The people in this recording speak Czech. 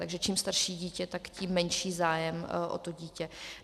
Takže čím starší dítě, tak tím menší zájem o to dítě.